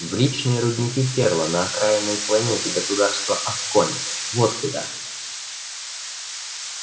в личные рудники ферла на окраинной планете государства асконь вот куда